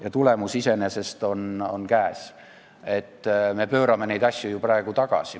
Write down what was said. Ja tulemus on käes, me pöörame neid asju ju praegu tagasi.